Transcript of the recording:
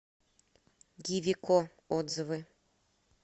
гивико отзывы